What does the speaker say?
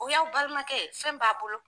O y'aw balimakɛ ye fɛn b'a' bolo.